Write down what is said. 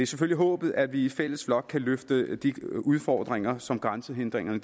selvfølgelig håbet at vi i fælles flok kan løfte de udfordringer som grænsehindringerne